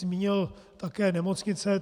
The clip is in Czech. Zmínil také nemocnice.